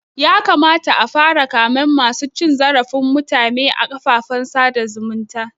Ya kamata a fara kamen masu cin zarafin mutume a kafafen sada zumunta